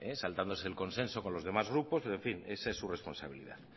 saltándose el consenso con los demás grupos pero en fin esa es su responsabilidad